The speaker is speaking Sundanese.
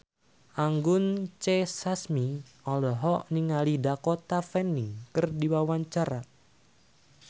Anggun C. Sasmi olohok ningali Dakota Fanning keur diwawancara